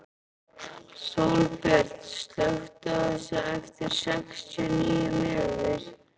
Sólbjört, slökktu á þessu eftir sextíu og níu mínútur.